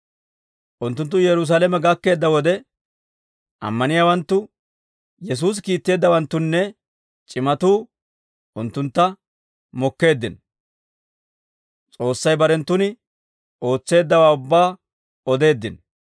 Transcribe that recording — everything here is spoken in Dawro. Unttunttu Yerusaalame gakkeedda wode, ammaniyaawanttu, Yesuusi kiitteeddawanttunne c'imatuu unttuntta mokkeeddino; S'oossay barenttun ootseeddawaa ubbaa odeeddino.